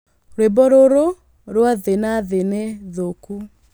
Rwĩmbo rũrũ rwa thĩ na thĩ ni thũku